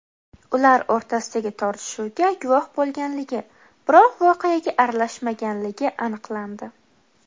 ular o‘rtasidagi tortishuvga guvoh bo‘lganligi, biroq voqeaga aralashmaganligi aniqlandi.